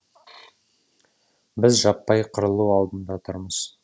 біз жаппай қырылу алдында тұрмыз